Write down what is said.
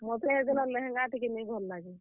ମତେ ହେ ଦିନ ଲେହେଙ୍ଗା ଟିକେ ନେଇ ଭଲ୍ ଲାଗେ।